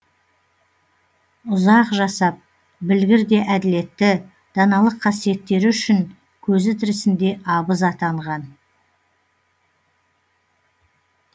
ұзақ жасап білгір де әділетті даналық қасиеттері үшін көзі тірісінде абыз атанған